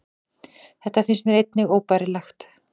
Þetta finnst mér einnig óbærilegt